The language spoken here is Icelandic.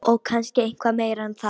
Og kannski eitthvað meira en það.